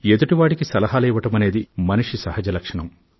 ఎదుటివారికి సలహాలు ఇవ్వడమనేది మనిషి సహజ లక్షణం